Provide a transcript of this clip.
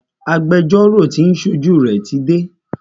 Agbẹjọ́rọ́ tí o ń ṣojú rẹ tí dé.